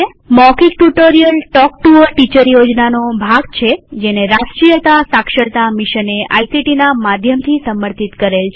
મૌખિક tutorial talk to a teacher યોજનાનો ભાગ છેજેને રાષ્ટ્રીય સાક્ષરતા મિશને આઇસીટી ના માધ્યમથી સમર્થિત કરેલ છે